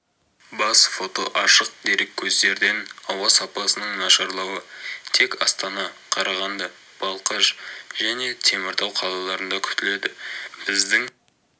бас фото ашық дереккөздерден ауа сапасының нашарлауы тек астана қарағанды балқаш және теміртау қалаларында күтіледі біздің